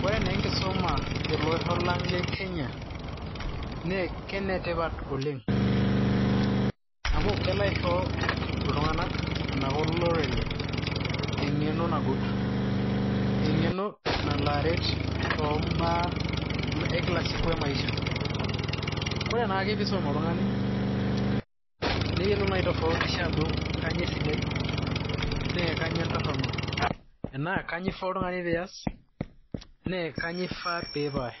Koree naa enkisuma tele osho lang le Kenya naa kenetipat oleng amu kelo aisho iltung'anak enaa kolorere eng'eno nagut. Eng'eno nalo aret too baa ekilasiku emaisha. Koree naake peisum oltung'ani neyolou naa aitofautisha ajo kainyo esidai na kainyoo entoronok. Enaa kainayaa ifaa oltung'ani pias naa kainyo ifaa pipaash.